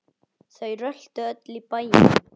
Þau röltu öll í bæinn.